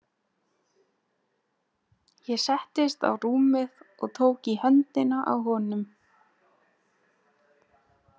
Ég settist á rúmið og tók í höndina á honum.